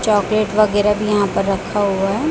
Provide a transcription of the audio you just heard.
Chocolate वगैरा भी यहां पर रखा हुआ है।